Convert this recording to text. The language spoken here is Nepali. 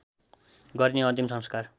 गरिने अन्तिम संस्कार